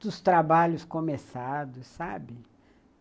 dos trabalhos começados, sabe?